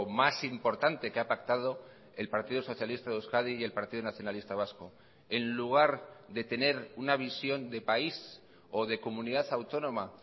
más importante que ha pactado el partido socialista de euskadi y el partido nacionalista vasco en lugar de tener una visión de país o de comunidad autónoma